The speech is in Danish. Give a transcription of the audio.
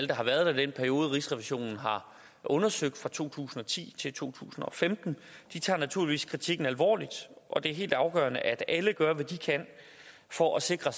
der har været der i den periode rigsrevisionen har undersøgt fra to tusind og ti til to tusind og femten naturligvis tager kritikken alvorligt og det er helt afgørende at alle gør hvad de kan for at sikre